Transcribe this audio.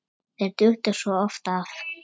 Þau duttu svo oft af.